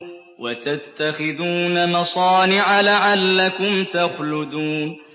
وَتَتَّخِذُونَ مَصَانِعَ لَعَلَّكُمْ تَخْلُدُونَ